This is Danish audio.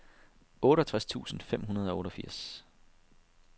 otteogtres tusind fem hundrede og otteogfirs